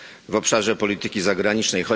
w obszarze polityki zagranicznej.